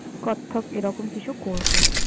কত্থক, এরকম কিছু করব।